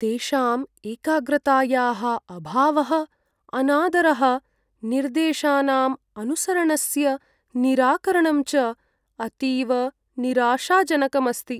तेषां एकाग्रतायाः अभावः, अनादरः, निर्देशानाम् अनुसरणस्य निराकरणं च अतीव निराशाजनकम् अस्ति।